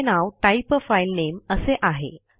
त्याचे नाव type a file name असे आहे